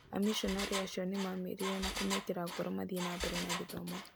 Amishonarĩ acio nĩ maamarerire na kũmekĩra ngoro mathiĩ na mbere na gĩthomo.